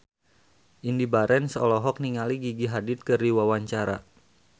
Indy Barens olohok ningali Gigi Hadid keur diwawancara